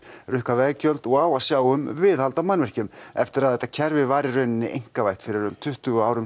rukkar veggjöld og á að sjá um viðhald á mannvirkjum eftir að kerfið var í raun einkavætt fyrir um tuttugu árum